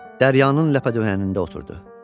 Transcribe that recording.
Dəryanın ləpədöhənində oturdu.